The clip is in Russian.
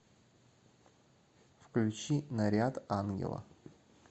включи наряд ангела